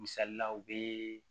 Misalila u be